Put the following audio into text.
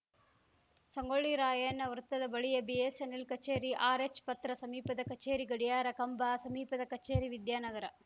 ಸಂಗೊಳ್ಳಿ ರಾಯಣ್ಣ ವೃತ್ತದ ಬಳಿಯ ಬಿಎಸ್ಸೆನ್ನೆಲ್‌ ಕಚೇರಿ ಆರ್‌ಎಚ್‌ ಪತ್ರ ಸಮೀಪದ ಕಚೇರಿ ಗಡಿಯಾರ ಕಂಬ ಸಮೀಪದ ಕಚೇರಿ ವಿದ್ಯಾನಗರ